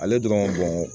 Ale dɔrɔn